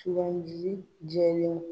ji jɛlen don.